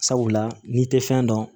Sabula n'i tɛ fɛn dɔn